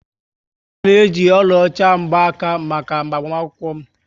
Aga m eji oluocha mgkwaka maka agbamakwukwo m